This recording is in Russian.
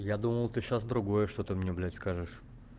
я думал ты сейчас другое что-то мне блять скажешь